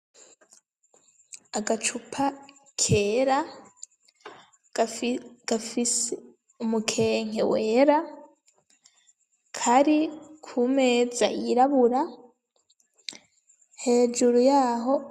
Agacupa kera gafise umukenke wera kari ku meza yirabura hejuru yaho.